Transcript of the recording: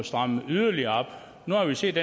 stramme det yderligere op nu har vi set